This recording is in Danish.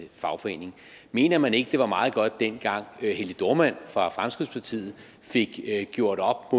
fagforening mener man ikke det var meget godt dengang helge dohrmann fra fremskridtspartiet fik gjort op